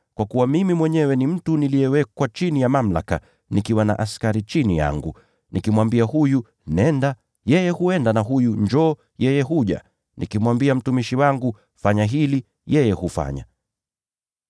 Kwa kuwa mimi mwenyewe ni mtu niliyewekwa chini ya mamlaka, nikiwa na askari chini yangu. Nikimwambia huyu, ‘Nenda,’ yeye huenda; na mwingine nikimwambia, ‘Njoo,’ yeye huja. Nikimwambia mtumishi wangu, ‘Fanya hivi,’ yeye hufanya.”